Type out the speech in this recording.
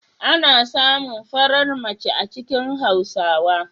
Ana samun farar mace a cikin Hausawa?